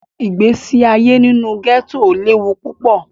Igbesi aye ninu gẹto lewu pupọ.